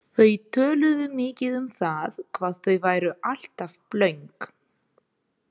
Þau töluðu mikið um það hvað þau væru alltaf blönk.